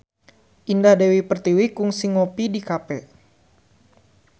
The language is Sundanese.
Indah Dewi Pertiwi kungsi ngopi di cafe